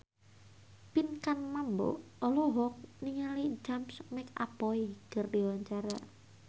Pinkan Mambo olohok ningali James McAvoy keur diwawancara